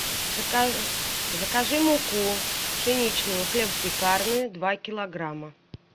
закажи муку пшеничную хлебопекарную два килограмма